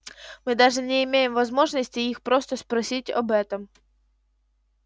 мы даже не имеем возможности их просто спросить об этом